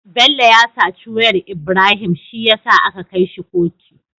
Bello ya saci wayar Ibrahim shiyasa aka kai shi kotu